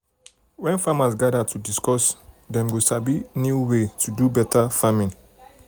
when farmers gather to discuss dem go sabi new way to do better farming.